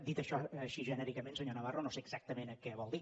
dit això així genèricament senyor navarro no sé exactament què vol dir